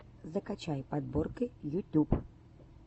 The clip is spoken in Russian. закачай подборки ютюб